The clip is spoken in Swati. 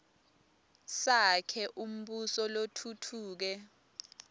sakhe umbuso lotfutfuke